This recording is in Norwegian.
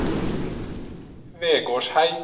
Vegårshei